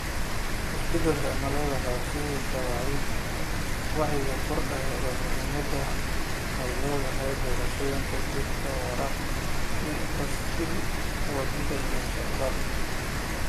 Isbeddelka cimiladu waxay horseedaysaa wacyiga kordhay ee muhiimadda ay leedahay doorashooyinka gaadiidka waara, sida baaskiil wadida iyo socodka.